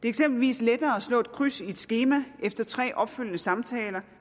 eksempelvis lettere at slå et kryds i et skema efter tre opfølgende samtaler